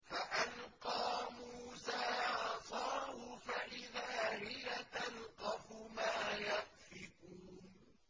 فَأَلْقَىٰ مُوسَىٰ عَصَاهُ فَإِذَا هِيَ تَلْقَفُ مَا يَأْفِكُونَ